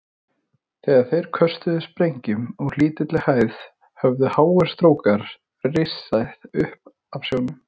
Þegar þeir köstuðu sprengjum úr lítilli hæð, höfðu háir strókar risið upp af sjónum.